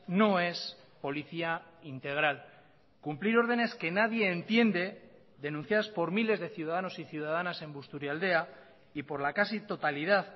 no es policía integral cumplir órdenes que nadie entiende denunciadas por miles de ciudadanos y ciudadanas en busturialdea y por la casi totalidad